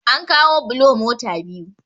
an kawo bulo mota biyu